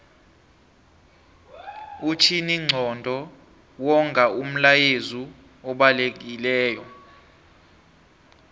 umtjhininqondo wonga umlayezu obalekilelo